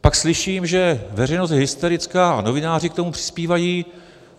Pak slyším, že veřejnost je hysterická a novináři k tomu přispívají.